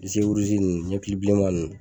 disi ninnu ɲɛkili bilenman ninnu